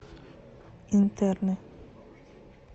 интерны